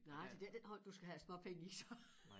Nej det det ikke den hånd du skal have æ småpenge i så